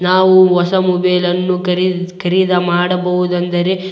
ನಾವು ಹೊಸ ಮೊಬೈಲ್ ಅನ್ನು ಖರೀದಿಸ ಖರೀದಿ ಮಾಡಬಹುದು ಎಂದರೆ --